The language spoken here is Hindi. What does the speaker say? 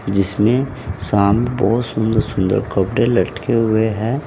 जिसमें शाम बहुत सुंदर सुंदर कपड़े लटके हुए हैं।